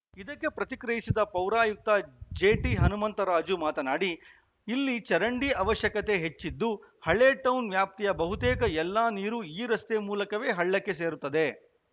ಇದಕ್ಕೆ ಪ್ರತಿಕ್ರಿಯಿಸಿದ ಪೌರಾಯುಕ್ತ ಜೆಟಿಹನುಮಂತರಾಜು ಮಾತನಾಡಿ ಇಲ್ಲಿ ಚರಂಡಿ ಅವಶ್ಯಕತೆ ಹೆಚ್ಚಿದ್ದು ಹಳೇ ಟೌನ್‌ ವ್ಯಾಪ್ತಿಯ ಬಹುತೇಕ ಎಲ್ಲ ನೀರು ಈ ರಸ್ತೆ ಮೂಲಕವೇ ಹಳ್ಳಕ್ಕೆ ಸೇರುತ್ತದೆ